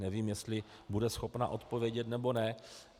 Nevím, jestli bude schopna odpovědět, nebo ne.